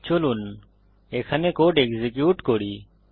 চলুন এখানে code execute করি